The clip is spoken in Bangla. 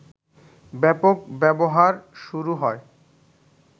ব্যাপক ব্যবহার শুরু হয়